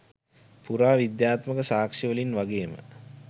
පුරාවිද්‍යාත්මක සාක්ෂිවලින් වගේම